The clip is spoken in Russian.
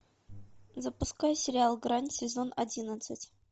запускай сериал грань сезон одиннадцать